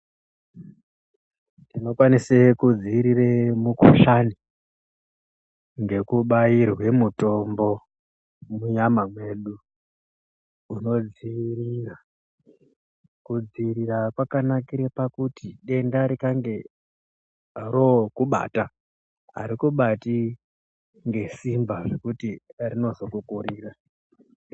Tinokwanise kudziirire mukuhlani ngekubairwe mutombo munyama mwedu unodziirira. Kudziirira kwakanakire pakuti denda rikange rookubata, harikubati ngesimba zvekuti rinozokukurira.